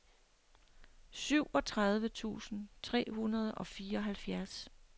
syvogtredive tusind tre hundrede og fireoghalvfjerds